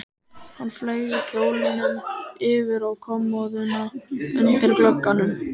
Hann fleygði kjólnum yfir á kommóðuna undir glugganum.